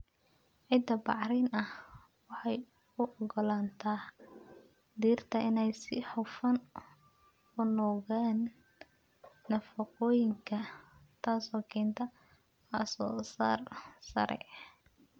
Ciidda bacrin ah waxay u ogolaataa dhirta inay si hufan u nuugaan nafaqooyinka, taasoo keenta wax soo saar sare.